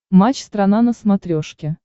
матч страна на смотрешке